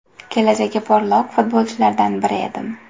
Kelajagi porloq futbolchilardan biri edim.